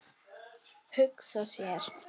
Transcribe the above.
Hugsa sér.